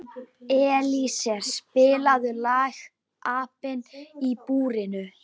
Elíeser, spilaðu lagið „Apinn í búrinu“.